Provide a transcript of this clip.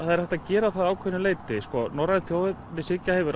það er hægt að gera það að ákveðnu leyti sko norræn þjóðernishyggja hefur